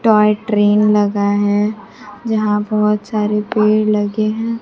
Toy train लगा है जहां बहोत सारे पेड़ लगे हैं।